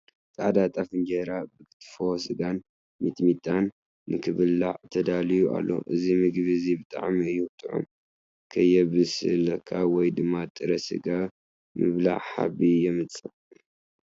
ፃዕዳ ጣፍ እንጀራ ብክትፎ ስጋን ሚጥምጣን ንክብላዕ ተዳልዩ ኣሎ። እዚ ምግቢ እዚ ብጣዕሚ እዩ ጡዑም። ከየብሰልካ ወይ ድማ ጥረ ስጋ ምብላዕ ሓቢ የምፅእ።